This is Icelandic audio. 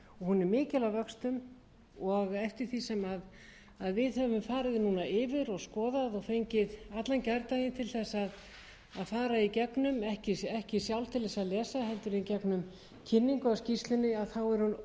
hún er mikil að vöxtum og eftir því sem við höfum farið núna yfir og skoðað og fengið allan gærdaginn til þess að fara í gegnum ekki sjálf til þess að lesa heldur í gegnum kynningu á skýrslunni er hún